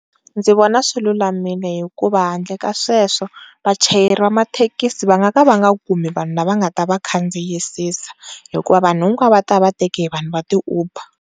Ndzi vona swilulamile hikuva va ndle ka sweswo vachayeri va mathekisi va nga ka va nga kumi vanhu lava nga ta vakhandziyisisa hikuva vanhu hikwavo va ta va vateke hi vanhu va ti-uber.